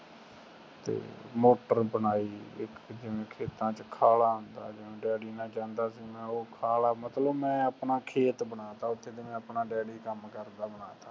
motor ਬਣਾਈ ਇਕ ਜਿਵੇਂ ਖੇਤਾਂ ਵਿਚ ਖਾਲਾ ਹੁੰਦਾ ਜਿਵੇਂ ਡੈਡੀ ਨਾਲ ਜਾਂਦਾ ਸੀ ਮੈਂ ਓ ਖਾਲਾ ਮਤਲਬ ਮੈਂ ਆਪਣਾ ਖੇਤ ਬਣਾ ਦਿਤਾ ਓਥੇ ਜਿਵੇਂ ਆਪਣਾ ਡੈਡੀ ਕੰਮ ਕਰਤਾ ਬਣਾ ਤਾ